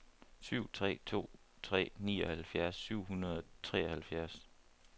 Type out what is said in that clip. syv tre to tre nioghalvfjerds syv hundrede og treoghalvfjerds